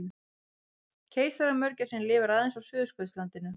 Keisaramörgæsin lifir aðeins á Suðurskautslandinu.